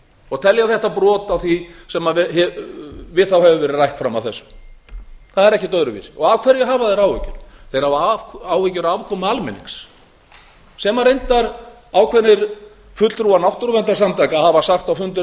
og telja þetta brot á því sem við þá hefur verið rætt fram að þessu það er ekkert öðruvísi af hverju hafa þeir áhyggjur þeir hafa áhyggjur af afkomu almennings sem reyndar ákveðnir fulltrúar náttúruverndarsamtaka hafa sagt á fundi